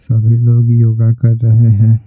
सभी लोग योगा कर रहे हैं।